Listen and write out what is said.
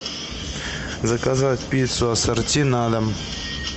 заказать пиццу ассорти на дом